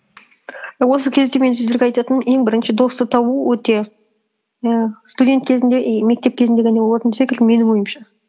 осы кезде мен сіздерге айтатыным ең бірінші досты табу өте і студент кезінде и мектеп кезінде болатын секілді менің ойымша